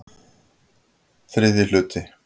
VIII Hluti